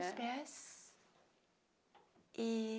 é. Dos pés. E